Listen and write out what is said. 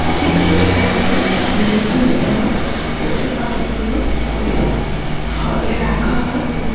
বিভিন্ন পুরোনো বা বিলুপ্ত হয়ে যাওয়া পশু-পাখিগুলো ওদের ঘরে রাখা হয় এবং--